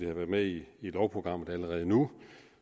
været med i lovprogrammet allerede nu